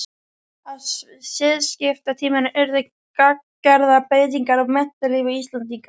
Á siðskiptatímanum urðu gagngerðar breytingar á menntalífi Íslendinga.